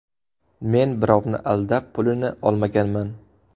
Men birovni aldab, pulini olmaganman.